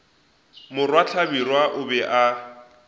morwa hlabirwa o be a